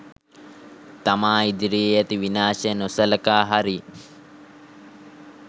තමා ඉදිරියේ ඇති විනාශය නොසළකා හරියි